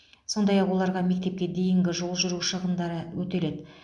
сондай ақ оларға мектепке дейінгі жол жүру шығындары өтеледі